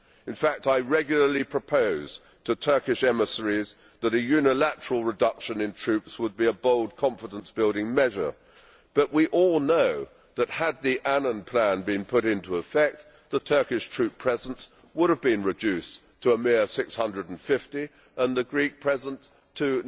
In fact, I regularly propose to Turkish emissaries that a unilateral reduction in troops would be a bold confidence building measure, but we all know that had the Annan Plan been put into effect, the Turkish troop presence would have been reduced to a mere 650 and the Greek presence to